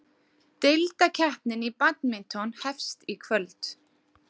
Deildakeppnin í badminton hefst í kvöld